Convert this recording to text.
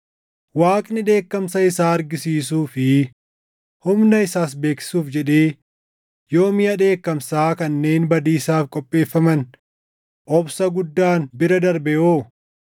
Waaqni dheekkamsa isaa argisiisuu fi humna isaas beeksisuuf jedhee yoo miʼa dheekkamsaa kanneen badiisaaf qopheeffaman obsa guddaan bira darbe hoo?